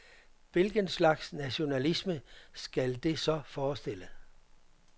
Hvilken slags nationalisme skal det så forestille?